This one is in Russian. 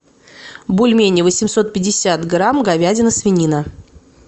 бульмени восемьсот пятьдесят грамм говядина свинина